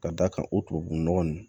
Ka d'a kan o tubabu nɔgɔ nunnu